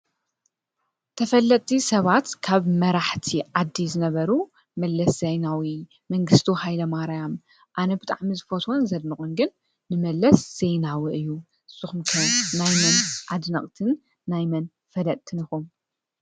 ተፈለጥቲ ሰባት ካብ መራሕቲ ዓዲ ዝነበሩ መለስ ዜናዊ፣ መንግስቱ ሃይለማርያም ኣነ ብጣዕሚ ዝፈትዎን ዘድንቖን ግን ንመለስ ዜናዊ እዩ፡፡ ንስኹም ከ ናይ መን ኣድነቕቲ ናይ መን ፈለጥትን ኢኹም?